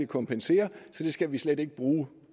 kompenseres så det skal vi slet ikke bruge